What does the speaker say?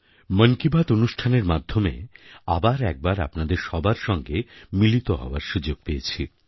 মন কি বাত অনুষ্ঠানের মাধ্যমে আবার একবার আপনাদের সবার সঙ্গে মিলিত হওয়ার সুযোগ পেয়েছি